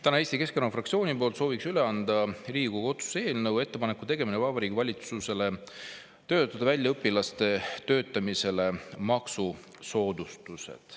Täna soovib Eesti Keskerakonna fraktsioon üle anda Riigikogu otsuse eelnõu "Ettepaneku tegemine Vabariigi Valitsusele töötada välja õpilaste töötamisele maksusoodustused".